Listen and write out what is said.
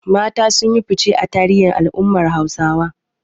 Mata sun yi fice a tarihin al’ummar Hausawa.